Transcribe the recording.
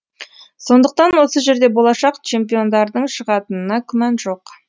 сондықтан осы жерде болашақ чемпиондардың шығатынына күмән жоқ